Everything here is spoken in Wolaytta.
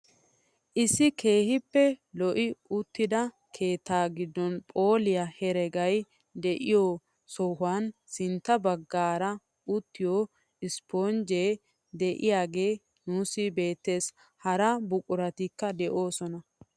Issi keehippe lo'i uttida keettaa giddon phooliyaa heragay de'iyoo sohuwaan sintta baggaara utiyoo isponjjee de'iyaage nuusi beettes. hara buquratikka de'oosona.